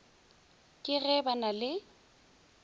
ke ge ba na le